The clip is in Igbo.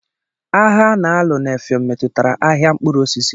Agha a na-alụ na Effium metụtara ahịa mkpụrụ osisi.